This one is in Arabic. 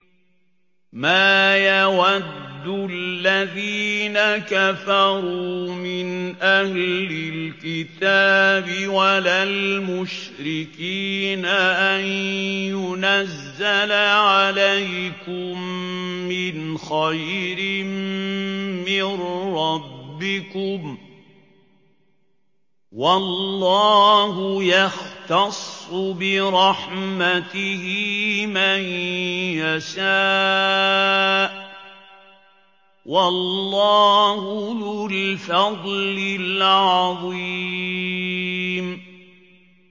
مَّا يَوَدُّ الَّذِينَ كَفَرُوا مِنْ أَهْلِ الْكِتَابِ وَلَا الْمُشْرِكِينَ أَن يُنَزَّلَ عَلَيْكُم مِّنْ خَيْرٍ مِّن رَّبِّكُمْ ۗ وَاللَّهُ يَخْتَصُّ بِرَحْمَتِهِ مَن يَشَاءُ ۚ وَاللَّهُ ذُو الْفَضْلِ الْعَظِيمِ